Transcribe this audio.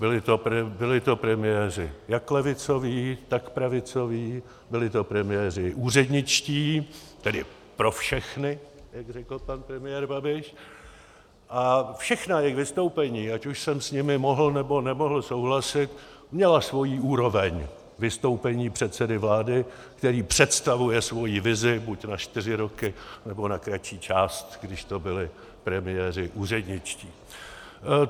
Byli to premiéři jak levicoví, tak pravicoví, byli to premiéři úředničtí, tedy pro všechny, jak řekl pan premiér Babiš, a všechna jejich vystoupení, ať už jsem s nimi mohl, nebo nemohl souhlasit, měla svoji úroveň vystoupení předsedy vlády, který představuje svoji vizi buď na čtyři roky, nebo na kratší část, když to byli premiéři úředničtí.